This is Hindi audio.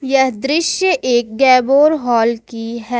यह दृश्य एक गैबोर हॉल की है।